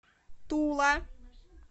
тула